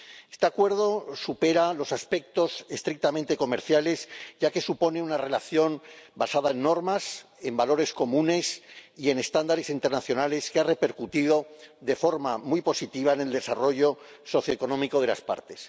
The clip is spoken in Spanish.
Este Acuerdo supera los aspectos estrictamente comerciales, ya que supone una relación basada en normas, en valores comunes y en estándares internacionales que ha repercutido de forma muy positiva en el desarrollo socioeconómico de las partes.